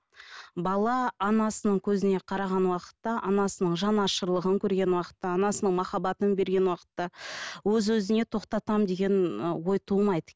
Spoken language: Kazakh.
бала анасының көзіне қараған уақытта анасының жанашырлығын көрген уақытта анасының махаббатын берген уақытта өз өзіне тоқтатам деген і ой тумайды